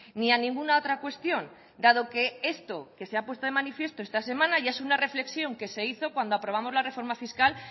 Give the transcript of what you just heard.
ni a ninguna otra cuestión dado que esto que se ha puesto de manifiesto esta semana ya es una reflexión que se hizo cuando aprobamos la reforma fiscal